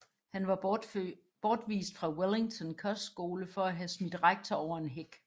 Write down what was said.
Han var bortvist fra Wellington kostskole for at have smidt rektor over en hæk